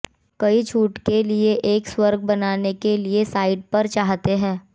कई छूट के लिए एक स्वर्ग बनाने के लिए साइट पर चाहते हैं